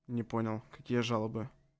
не понял какие жалобы